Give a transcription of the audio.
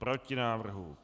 Proti návrhu.